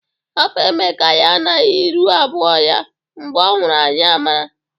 Hapụ Emeka ya na iru abụọ ya. Mgbe ọ nwụrụ anyị amara.